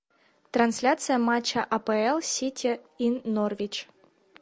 трансляция матча апл сити и норвич